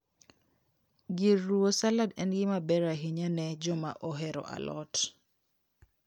Gir ruwo salad en gima ber ahinya ne joma ohero alot